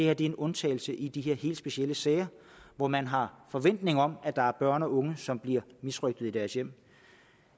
er en undtagelse i de her helt specielle sager hvor man har forventning om at der er børn og unge som bliver misrøgtet i deres hjem